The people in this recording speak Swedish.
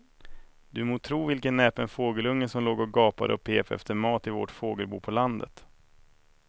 Du må tro vilken näpen fågelunge som låg och gapade och pep efter mat i vårt fågelbo på landet.